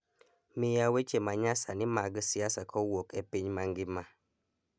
miya weche ma nyasani mag siasa kowuok e piny mangima